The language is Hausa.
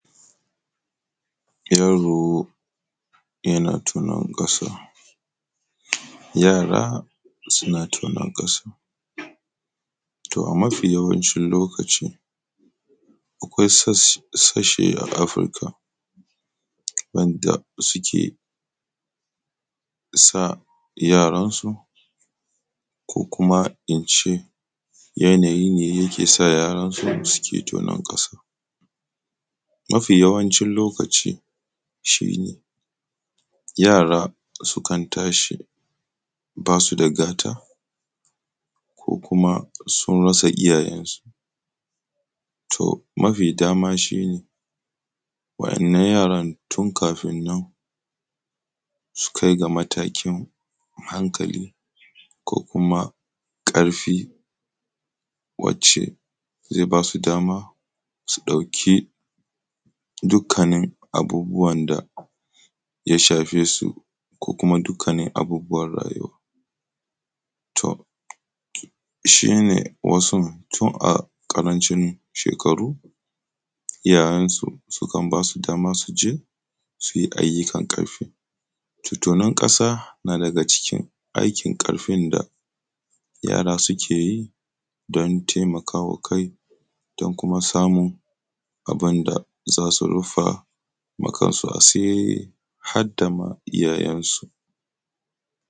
yaro yana tonon kasa ko yara suna tonan kasa to a mafi yawancin lokaci a kasashe na afirika suke sa yaran su ko kuma ince yanayi ne yake sa yaraƙ suke tonon kasa mafi yawancin lokaci yara sukan tashi basuda gata ko kuma sun rasa iyyayen su to mafi dama shine wa yannan yaran tun kafin nan su kaiga matakin hankali ko karfi wacce zai basu dama su dauki duk kanin abubuwan da ya shafe su ko kuma dukkanin abubuwan rayuwa to shine wasu tun a karancin shekaru iyyayen sukan basu dama suyi ayyukan karfi to tonon kasa na daga cikin aikin karfin da yara sukeyi don taimakawa kai da kuma samun abunda zasu rufawa kansu asiri hadda ma iyyayen su